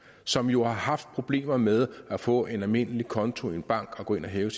som jo har haft problemer med at få en almindelig konto i en bank og gå ind og hæve